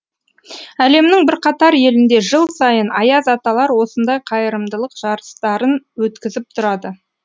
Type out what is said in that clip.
әлемнің бірқатар елінде жыл сайын аяз аталар осындай қайырымдылық жарыстарын өткізіп тұрады